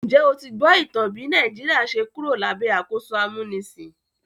Njẹ́ o ti gbọ́ ìtàn bí Nàìjíríà ṣe Kúrò lábẹ́ àkóso amúnisìn?